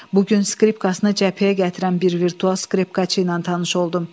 Bu gün skripkasına cəbhəyə gətirən bir virtual skripkaçı ilə tanış oldum.